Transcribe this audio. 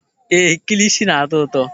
Éè, kilishi na-atọ ụtọ.